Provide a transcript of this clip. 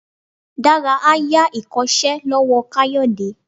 Dara a ya ikosé lowo kayode